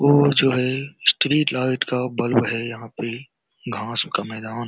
वो जो है स्ट्रीट लाइट का बल्ब है यहां पे घास का मैदान --